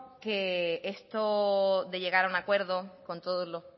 que esto de llegar a un acuerdo con todos las